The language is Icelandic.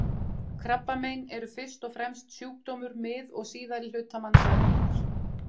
Krabbamein eru fyrst og fremst sjúkdómur mið- og síðari hluta mannsævinnar.